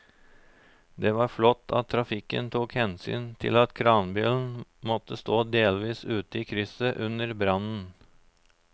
Det var flott at trafikken tok hensyn til at kranbilen måtte stå delvis ute i krysset under brannen.